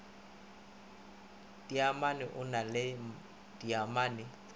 dimmaene o na le dimmaene